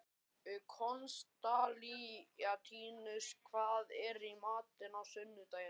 Konstantínus, hvað er í matinn á sunnudaginn?